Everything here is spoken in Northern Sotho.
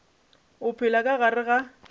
o phela ka gare ga